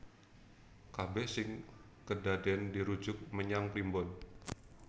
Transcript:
Kabèh sing kedadèn dirujuk menyang primbon